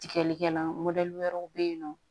Tigɛlikɛlan wɛrɛw bɛ yen nɔ